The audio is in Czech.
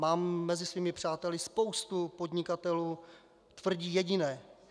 Mám mezi svými přáteli spoustu podnikatelů - tvrdí jediné.